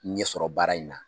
Ɲɛsɔrɔ baara in na.